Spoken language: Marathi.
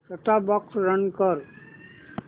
सेट टॉप बॉक्स रन कर